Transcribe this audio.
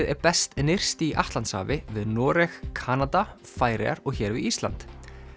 er best nyrst í Atlantshafi við Noreg Kanada Færeyjar og hér við Ísland